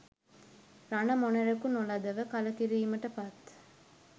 රණ මොණරෙකු නොලදව කලකිරීමට පත්